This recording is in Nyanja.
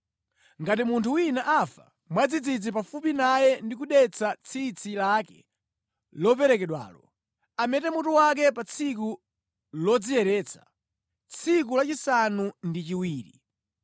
“Ngati munthu wina afa mwadzidzidzi pafupi naye ndi kudetsa tsitsi lake loperekedwalo, amete mutu wake pa tsiku lodziyeretsa, tsiku lachisanu ndi chiwiri.